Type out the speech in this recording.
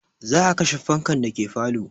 Za a kashe fankan dake falo